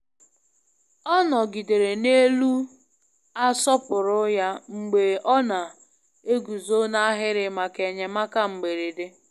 Ọ nọgidere n'elu asọpụrụ ya mgbe ọ na-eguzo n'ahịrị maka enyemaka mberede.